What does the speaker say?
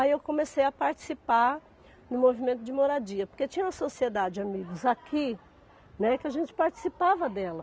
Aí eu comecei a participar no movimento de moradia, porque tinha uma sociedade, amigos, aqui, né, que a gente participava dela.